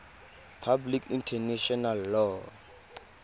public international law